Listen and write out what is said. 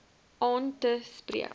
aan te spreek